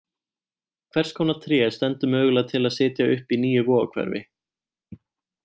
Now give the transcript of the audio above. Hvers konar tré stendur mögulega til að setja upp í nýju Vogahverfi?